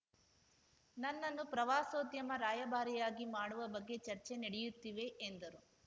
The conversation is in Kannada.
ನನ್ನನ್ನು ಪ್ರವಾಸೋದ್ಯಮ ರಾಯಭಾರಿಯಾಗಿ ಮಾಡುವ ಬಗ್ಗೆ ಚರ್ಚೆ ನಡೆಯುತ್ತಿವೆ ಎಂದರು